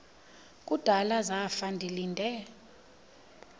kudala zafa ndilinde